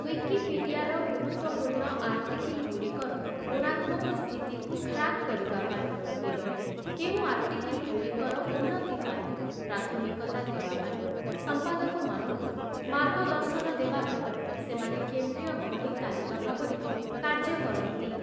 ୱିକିପିଡିଆର ଗୁରୁତ୍ୱପୂର୍ଣ୍ଣ ଆର୍ଟିକିଲଗୁଡ଼ିକର ଗୁଣାତ୍ମକ ସ୍ଥିତିକୁ ଟ୍ରାକ୍ କରିବା ପାଇଁ ଏବଂ କେଉଁ ଆର୍ଟିକିଲଗୁଡ଼ିକର ଉନ୍ନତି ପାଇଁ ପ୍ରାଥମିକତା ଦେବା ପାଇଁ ସଂପାଦକମାନଙ୍କୁ ମାର୍ଗଦର୍ଶନ ଦେବା ପାଇଁ ସେମାନେ କେନ୍ଦ୍ରୀୟ ଘଡ଼ି ତାଲିକା ଭାବରେ କାର୍ଯ୍ୟ କରନ୍ତି ।